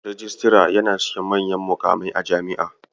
Rijistara yana cikin manyan muƙamai a Jami'a.